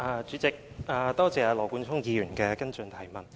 主席，多謝羅冠聰議員的補充質詢。